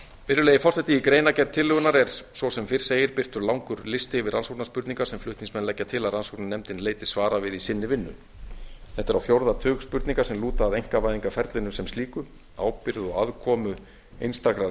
virðulegi forseti í greinargerð tillögunnar er svo sem fyrr segir birtur langur listi yfir rannsóknarspurningar sem flutningsmenn leggja til að rannsóknarnefndin leiti svara við í sinni vinnu þetta er á fjórða tug spurninga sem lúta að einkavæðingarferlinu sem slíku ábyrgð og aðkomu einstakra